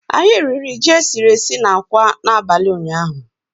Anyị riri ji e siri esi na akwa n'abalị ụnyaahụ